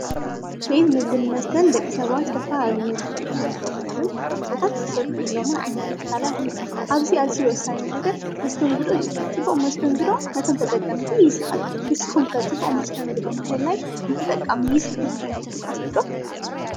ቤት ምግብን መስተን ደቂ ሰባትዝተፈላለዩ እዮም፡፡ ምግብታት ዝምገቡሎምን መሰተታት ዝሰቱዩሎምን ዓይነት ትካላት እዮም፡፡ ኣብዚ ኣዚዩ ወሳኒ ነገር መስተንግዶ እዩ፡፡ ፅቡቕ መስተንግዶ ነቶም ተጠቀምቲ ይስሕብ፡፡ ንስኹም ከ ጽቡቕ መስተንግዶ ምህላይ ንተጠቃሚ ይስሕብ እዩ ኢልኩም ተሓስቡ ዶ?